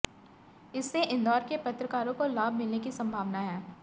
इससे इंदौर के पत्रकारों को लाभ मिलने की संभावना है